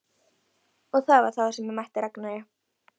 Og það var þá sem ég mætti Ragnari.